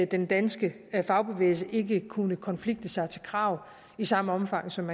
den danske fagbevægelse ikke kunne konflikte sig til krav i samme omfang som